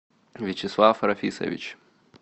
вячеслав рафисович